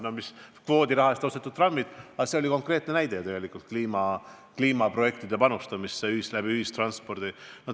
Need olid kvoodiraha eest ostetud trammid ja see on konkreetne näide ühistranspordi arendamise kaudu kliimaprojektidesse panustamise kohta.